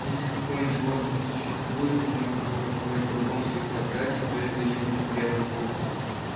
если какое-нибудь живое существует и можно было назвать врагом своих собратьев то это именно к белому клыку